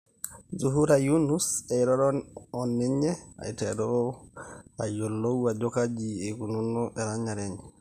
Zuhura Yunus eiroro oninye ,aiteru ayiolou ajo kaji eikununo erenyare enye.